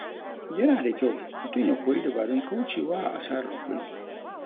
Yana da kyau mutum ya koyi dabarun kauce wa asarar kuɗi.